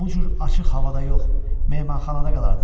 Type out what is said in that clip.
Bu cür açıq havada yox, mehmanxanada qalardım.